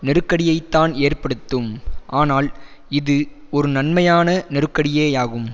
நெருக்கடியைத்தான் ஏற்படுத்தும் ஆனால் இது ஒரு நன்மையான நெருக்கடியேயாகும்